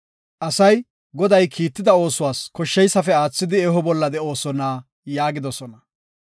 “Asay, Goday kiitida oosuwas koshsheysafe aathidi eho bolla de7oosona” yaagidosona.